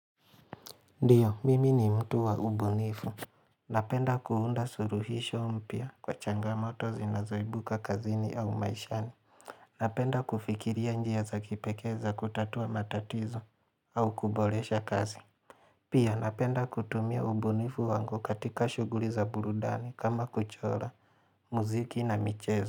Ndiyo, mimi ni mtu wa ubunifu. Napenda kuunda suluhisho mpya kwa changamoto zinazoibuka kazini au maishani. Napenda kufikiria njia za kipekee za kutatua matatizo au kuboresha kazi. Pia napenda kutumia ubunifu wangu katika shugli za burudani kama kuchora, muziki na michezo.